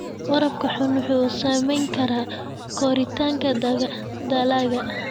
Waraabka xun wuxuu saameyn karaa koritaanka dalagga.